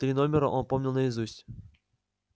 три номера он помнил наизусть